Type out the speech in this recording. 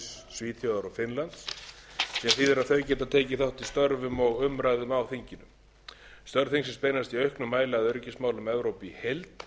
svíþjóðar og finnlands sem þýðir að þau geta tekið þátt í störfum og umræðum á þinginu störf þingsins beinast í auknum mæli að öryggismálum evrópu í heild